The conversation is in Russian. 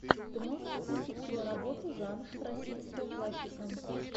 ты можешь включить киноработу жанр российская классика